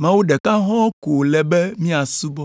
Mawu ɖeka hɔ̃ɔ ko wòle be míasubɔ.”